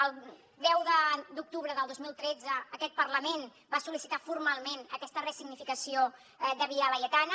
el deu d’octubre del dos mil tretze aquest parlament va sol·licitar formalment aquesta ressignificació de via laietana